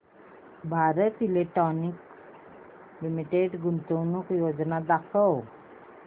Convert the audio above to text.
Bharat Electronics Limited गुंतवणूक योजना दाखव